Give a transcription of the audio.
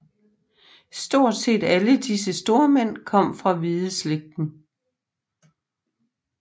Stort set alle disse stormænd kom fra Hvideslægten